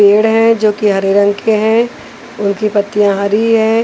पेड़ है जो कि हरे रंग के हैं उनकी पत्तियाँ हरी है।